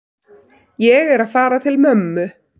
Ég er að fara til mömmu.